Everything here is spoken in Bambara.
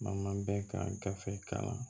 Maa man bɛn ka gafe kalan